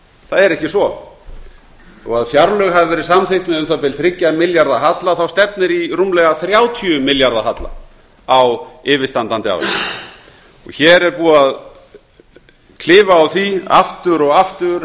það er ekki svo þó að fjárlög hafi verið samþykkt með um það bil þrjú milljarða halla stefnir í rúmlega þrjátíu milljarða halla á yfirstandandi ári hér er búið að klifað á því aftur og aftur